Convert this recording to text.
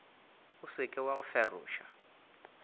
o seke wa go feroša